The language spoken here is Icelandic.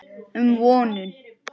um vonum.